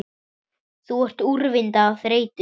Þú ert úrvinda af þreytu